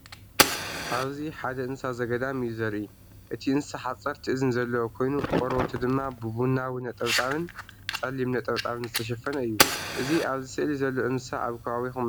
ኣብዚ ሓደ እንስሳ ዘገዳም እዩ ዘርኢ። እቲ እንስሳ ሓጸርቲ እዝኒ ዘለዎ ኮይኑ፡ ቆርበቱ ድማ ብቡናዊ ነጠብጣብን ጸሊም ነጠብጣብን ዝተሸፈነ እዩ። እዚ ኣብዚ ስእሊ ዘሎ እንስሳ ኣብ ከባቢኩም እንታይ አንዳተባሃለ ይፅዋዕ?